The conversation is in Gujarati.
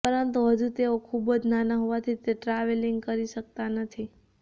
પરંતુ હજુ તેઓ ખૂબ જ નાના હોવાથી તે ટ્રાવેલિંગ કરી શકતા નથી